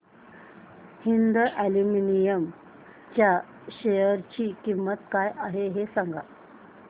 Hind aluminium च्या share ची किंमत काय आहे हे सांगा